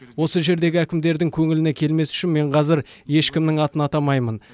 осы жердегі әкімдердің көңіліне келмес үшін мен қазір ешкімнің атын атамаймын